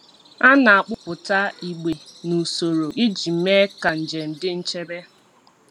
A na-akpụpụta igbe n’usoro iji mee ka njem dị nchebe.